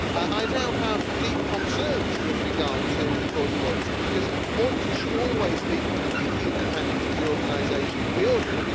I now have deep concerns with regard to the Court of Auditors because auditors should always be completely independent of the organisation that they audit.